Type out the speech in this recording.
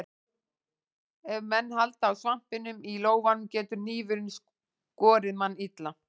Ef menn halda á svampinum í lófanum getur hnífurinn skorið mann illa.